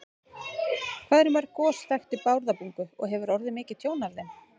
Hvað eru mörg gos þekkt í Bárðarbungu og hefur orðið mikið tjón af þeim?